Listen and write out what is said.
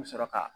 I bɛ sɔrɔ ka